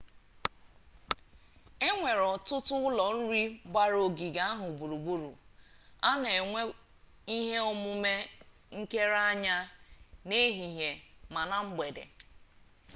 enwere ọtụtụ ụlọ nri gbara ogige ahụ gburugburu a na enwe ihe omume nkere anya n'ehihie ma na mgbede